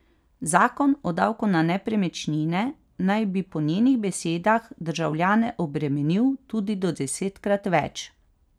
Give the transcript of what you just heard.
Zakon o davku na nepremičnine naj bi po njenih besedah državljane obremenil tudi do desetkrat več.